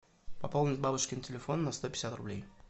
пополнить бабушкин телефон на сто пятьдесят рублей